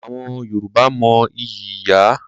Àwọn Yorùbá mo ìyí ìyá.